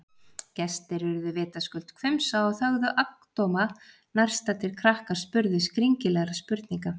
Gestir urðu vitaskuld hvumsa og þögðu agndofa- og nærstaddir krakkar spurðu skringilegra spurninga.